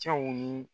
Cɛw ni